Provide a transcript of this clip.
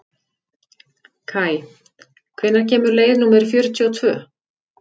Kaj, hvenær kemur leið númer fjörutíu og tvö?